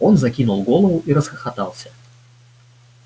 он закинул голову и расхохотался